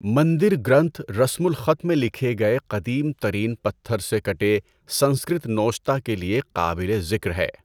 مندر گرنتھا رسم الخط میں لکھے گئے قدیم ترین پتھر سے کٹے سنسکرت نوشتہ کے لئے قابل ذکر ہے۔